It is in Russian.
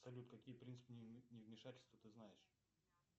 салют какие принципы невмешательства ты знаешь